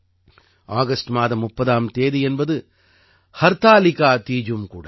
August மாதம் 30ஆம் தேதி என்பது ஹர்தாலிகா தீஜும் கூட